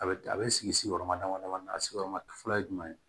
A bɛ a bɛ sigi sigiyɔrɔma dama dama na a sigiyɔrɔma fɔlɔ ye jumɛn ye